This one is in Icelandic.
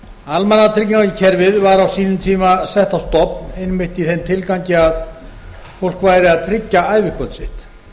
almannatryggingakerfið var á sínum tíma sett á stofn einmitt í þeim tilgangi að fólk væri að tryggja ævikvöld sitt